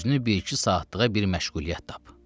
Özünü bir-iki saatlığa bir məşğuliyyət tap.